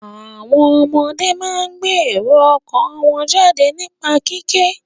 Àwọn ọmọdé máa ń gbé èrò ọkàn wọ́n jáde nípa kíké.